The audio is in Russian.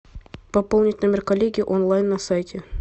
пополнить номер коллеги онлайн на сайте